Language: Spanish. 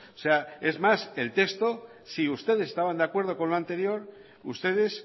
sea es más el texto si ustedes estaban de acuerdo con lo anterior ustedes